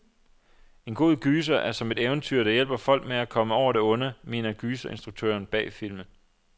En god gyser er som et eventyr, der hjælper folk med at komme over det onde, mener gyserinstruktøren bag filmen.